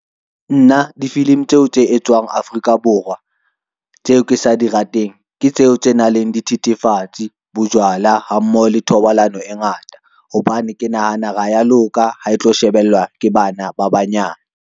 Nna, difilimi tseo tse etswang Afrika Borwa tseo ke sa di rateng, ke tseo tse nang leng dithethefatsi, bojwala ha mmoho le thobalano e ngata. Hobane ke nahana ha ya loka ha e tlo shebellwa ke bana ba banyane.